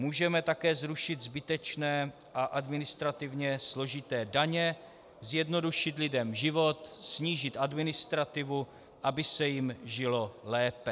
Můžeme také zrušit zbytečné a administrativně složité daně, zjednodušit lidem život, snížit administrativu, aby se jim žilo lépe.